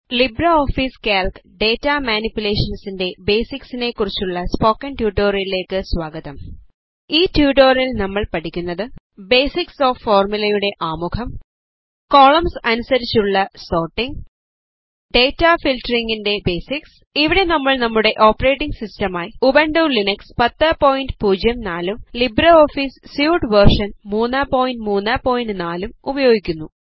LibreOffice Calc data മാനിപ്പുലേഷൻറെ basics നെ കുറിച്ചുള്ള സ്പോക്കൺ ട്യൂട്ടോറിയലേക്കു സ്വാഗതം ഈ ട്യൂട്ടോറിയലിൽ നമ്മൾ പഠിക്കുന്നത് ബേസിക്സ് ഓഫ് ഫോർമുലയുടെ ആമുഖം കോളംസ് അനുസരിച്ചുള്ള സോർട്ടിംഗ് ഡേറ്റ ഫിൽട്ടറിംഗിൻറെ ബേസിക്സ് ഇവിടെ നമ്മൾ നമ്മുടെ ഓപ്പറേറ്റിംഗ് സിസ്റ്റം ആയി ഉബണ്ടു ലിനക്സ് 1004 ഉം ലിബ്രെഓഫീസ് സ്യൂട്ട് വേർഷൻ 334 ലും ഉപയോഗിക്കുന്നു